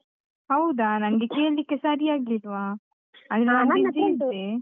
ಹೌದಾ, ನಂಗೆ ಕೇಳ್ಳಿಕ್ಕೆ ಸರಿಯಾಗ್ಲಿಲ್ವಾ .